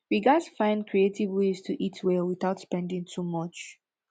we gats find creative ways to eat well without spending too much